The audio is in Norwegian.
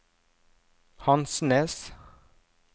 Hansnes